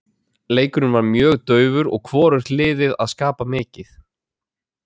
Leikurinn var mjög daufur og hvorugt liðið að skapa mikið.